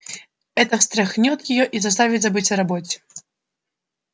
это встряхнёт её и заставит забыть о роботе